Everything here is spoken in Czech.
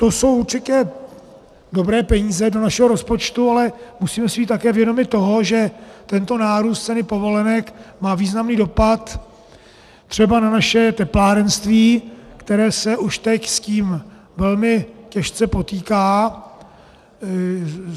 To jsou určitě dobré peníze do našeho rozpočtu, ale musíme si být také vědomi toho, že tento nárůst ceny povolenek má významný dopad třeba na naše teplárenství, které se už teď s tím velmi těžce potýká.